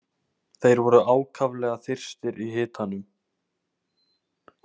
Þeir voru ákaflega þyrstir í hitanum.